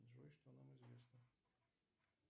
джой что нам известно